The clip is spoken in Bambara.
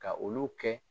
Ka olu kɛ